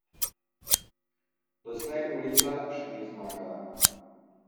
Doslej ulica še ni zmagala.